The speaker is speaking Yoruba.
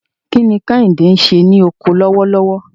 Kí ni Kehinde ń ṣe ní oko lọ́wọ́lọ́wọ́?